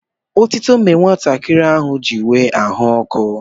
Otuto mere nwatakịrị ahụ ji nwee ahụ ọkụ.